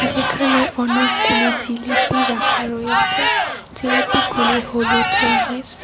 এখানে অনেকগুলি জিলিপি রাখা রয়েছে জিলিপিগুলি হলুদ রঙের।